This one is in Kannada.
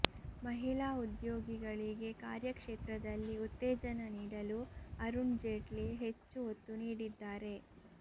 ಮಹಿಳಾ ಉದ್ಯೋಗಿಗಳಿಗೆ ಕಾರ್ಯ ಕ್ಷೇತ್ರದಲ್ಲಿ ಉತ್ತೇಜನ ನೀಡಲು ಅರುಣ್ ಜೇಟ್ಲಿ ಹೆಚ್ಚು ಒತ್ತು ನೀಡಿದ್ದಾರೆ